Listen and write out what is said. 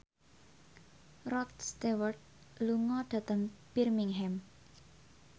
Rod Stewart lunga dhateng Birmingham